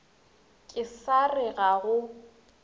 ke sa re ga go